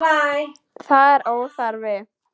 Það er óþarfi.